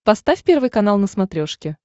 поставь первый канал на смотрешке